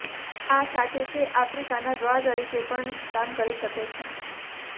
આ સાથે તે આફ્રિકાના દ્વાર તરીકે પણ કામ કરી શકે છે